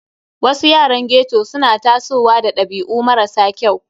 Wasu yaran ghetto suna tasowa da dabi'u marasa kyau.